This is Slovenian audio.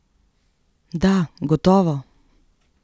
Da, gotovo.